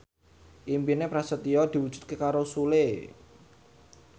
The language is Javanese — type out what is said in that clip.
impine Prasetyo diwujudke karo Sule